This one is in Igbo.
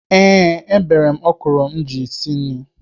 Ee, ebere m ọkwụrụ m ji esi nri.